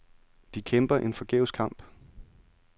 De kæmper en forgæves kamp.